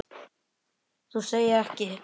Þú segir ekki.